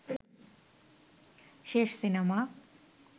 শেষ সিনেমা